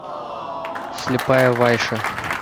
слепая вайша